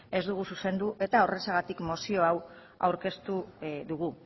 ez dugu zuzendu eta horrexegatik mozio hau aurkeztu dugu